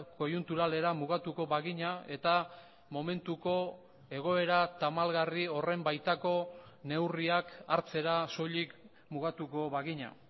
koiunturalera mugatuko bagina eta momentuko egoera tamalgarri horren baitako neurriak hartzera soilik mugatuko bagina